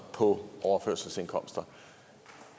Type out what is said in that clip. på overførselsindkomster